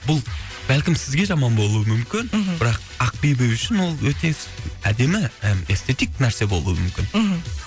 бұл бәлкім сізге жаман болуы мүмкін мхм бірақ ақбибі үшін ол өте с әдемі і эстетик нәрсе болу мүмкін мхм